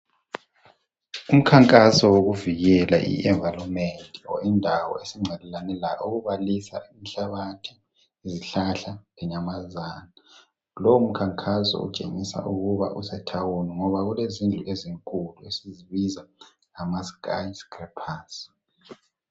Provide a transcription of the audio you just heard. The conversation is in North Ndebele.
Umkhankaso wokuvikela indawo esingcelelane layo okubalisa inhlabathi, izihlahla Kanye lezinyamazana. Lowomkhankaso utshengisa ukuba usedolobheni ngoba kulezindlu ezinkulu esizibiza ngama sky scrappers